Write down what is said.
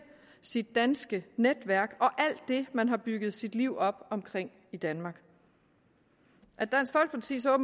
sit danske netværk og alt det man har bygget sit liv op omkring i danmark at dansk folkeparti så